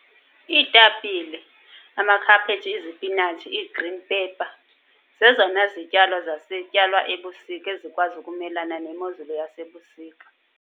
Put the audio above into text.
Iitapile, amakhaphetshu, izipinatshi, ii-green pepper zezona zityalo zityalwa ebusika ezikwazi ukumelana nemozulu yasebusika.